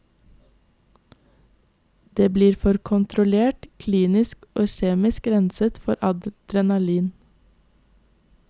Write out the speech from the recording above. Det blir for kontrollert, klinisk og kjemisk renset for adrenalin.